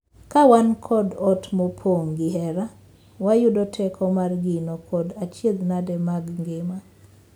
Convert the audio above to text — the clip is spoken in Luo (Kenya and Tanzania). Ka wan kod ot mopong’ gi hera, wayudo teko mar ngino kod achiedhnade mag ngima.